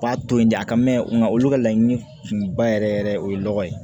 B'a to yen de a ka mɛn nga olu ka laɲini kunba yɛrɛ yɛrɛ o ye lɔgɔ ye